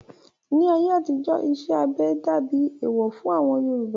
Ní ayé àtijó, iṣẹ́ abẹ dàbí ẹ̀ẹ̀wọ̀ fún àwọn Yorùbá